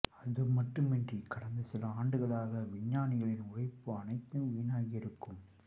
அதுமட்டுமன்றி கடந்த சில ஆண்டுகளாக விஞ்ஞானிகளின் உழைப்பு அனைத்தும் வீணாகி இருக்கும்